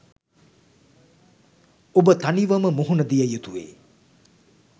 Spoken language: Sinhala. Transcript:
ඔබ තනිවම මුහුණ දිය යුතුවේ.